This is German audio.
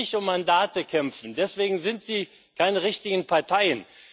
Sie können nicht um Mandate kämpfen. Deswegen sind sie keine richtigen Parteien.